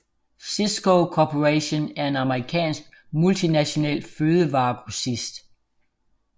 Sysco Corporation er en amerikansk multinational fødevaregrossist